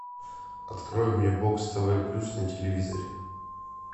открой мне бокс тв плюс на телевизоре